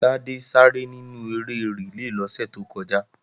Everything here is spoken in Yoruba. Tádé sáré nínú eré rìlé lọ́sẹ̀ tó kọjá